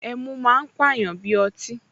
Ẹmu máa ń pàyàn bí ọtí